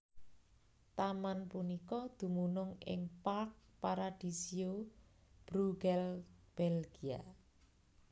Taman punika dumunung ing Parc Paradisio Brugelette Belgia